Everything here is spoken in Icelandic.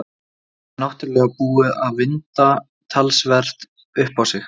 Þetta er náttúrlega búið að vinda talsvert upp á sig.